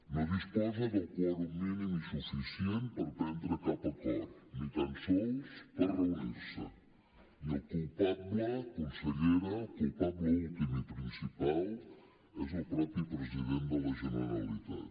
no disposa del quòrum mínim i suficient per prendre cap acord ni tant sols per reunir se i el culpable consellera el culpable últim i principal és el mateix president de la generalitat